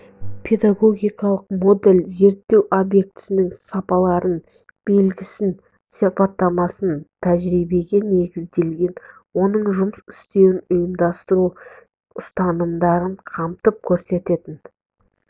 педагогикалық модель зерттеу объектісінің сапаларын белгісін сипаттамасын тәжірибеге негізделген оның жұмыс істеуін ұйымдастыру ұстанымдарын қамтып көрсететін